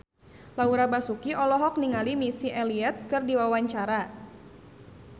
Laura Basuki olohok ningali Missy Elliott keur diwawancara